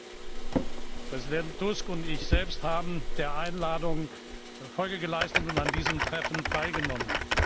Präsident Tusk und ich selbst haben der Einladung Folge geleistet und an diesem Treffen teilgenommen.